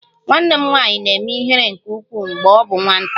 Nwanne m nwanyị na-eme ihere nke ukwuu mgbe ọ bụ nwata